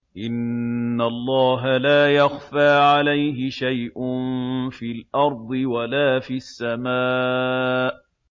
إِنَّ اللَّهَ لَا يَخْفَىٰ عَلَيْهِ شَيْءٌ فِي الْأَرْضِ وَلَا فِي السَّمَاءِ